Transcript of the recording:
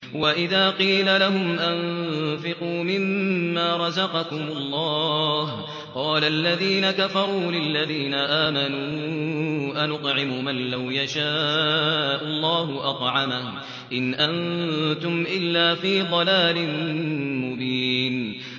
وَإِذَا قِيلَ لَهُمْ أَنفِقُوا مِمَّا رَزَقَكُمُ اللَّهُ قَالَ الَّذِينَ كَفَرُوا لِلَّذِينَ آمَنُوا أَنُطْعِمُ مَن لَّوْ يَشَاءُ اللَّهُ أَطْعَمَهُ إِنْ أَنتُمْ إِلَّا فِي ضَلَالٍ مُّبِينٍ